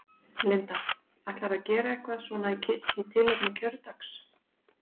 Linda: Ætlarðu að gera eitthvað svona í tilefni kjördags?